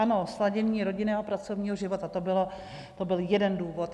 Ano, sladění rodinného a pracovního života, to byl jeden důvod.